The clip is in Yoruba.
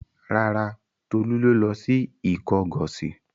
Rárá, Tolú ló lọ sí Ìkọgọ̀sì.